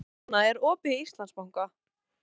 Silvana, er opið í Íslandsbanka?